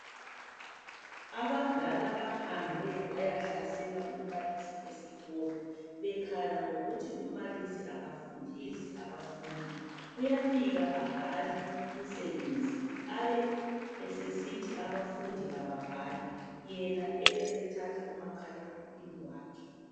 Abadala bahambe bayahlasela umbalisi esikolo bekhala ngokuthi umbalisi akafundisi abafundi, uyafika abhale umsebenzi abe esesithi abafundi kababhale yena ebesethatha umakhalekhukhwini wakhe.